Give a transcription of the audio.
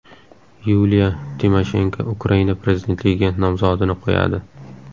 Yuliya Timoshenko Ukraina prezidentligiga nomzodini qo‘yadi.